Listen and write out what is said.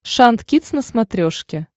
шант кидс на смотрешке